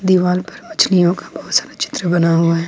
दीवाल पर मछलियों का बहोत सारा चित्र बना हुआ है।